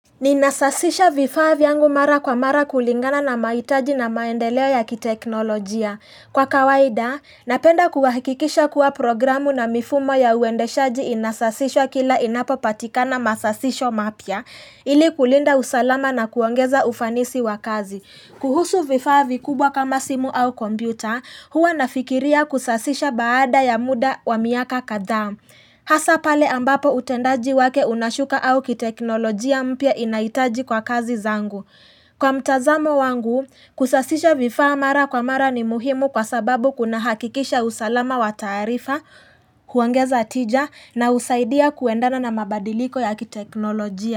Ninasasisha vifaa vyangu mara kwa mara kulingana na mahitaji na maendeleo ya kiteknolojia. Kwa kawaida, napenda kuhakikisha kuwa programu na mifumo ya uendeshaji inasasishwa kila inapo patikana masasisho mapya, ili kulinda usalama na kuongeza ufanisi wa kazi. Kuhusu vifaa vikubwa kama simu au kompyuta, huwa nafikiria kusasisha baada ya mda wa miaka kadhaa. Hasa pale ambapo utendaji wake unashuka au kiteknolojia mpya inahitaji kwa kazi zangu. Kwa mtazamo wangu, kusasisha vifaa mara kwa mara ni muhimu kwa sababu kuna hakikisha usalama wa taarifa, huongeza tija na husaidia kuendana na mabadiliko ya kiteknolojia.